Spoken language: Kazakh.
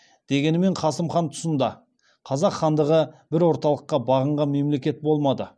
дегенмен қасым хан тұсында қазақ хандығы бір орталыққа бағынған мемлекет болмады